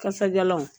Kasadiyalanw